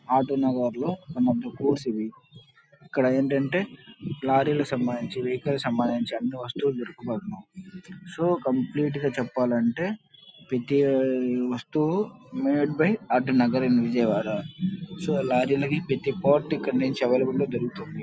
Auto Nagar లో one of the goods ఇవి ఇక్కడ ఏంటంటే లారీ కి సంబంది వెహికల్ కి సంబంధిచి అన్ని వస్తువులు సో కంప్లీట్ గ చెప్పాలంటే ప్రతి వస్తువు made by Auto Nagar in Vijayawada so lorry లకి ప్రతీ పార్ట్ ఇక్కడ నుంచి అవైలబుల్ లో దొరుకుతుంది.